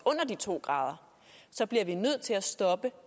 under de to grader så bliver vi nødt til at stoppe